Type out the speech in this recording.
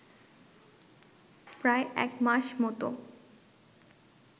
প্রায় একমাস মতো